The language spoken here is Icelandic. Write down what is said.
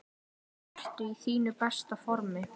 Ertu í þínu besta formi?